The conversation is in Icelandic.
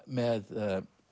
með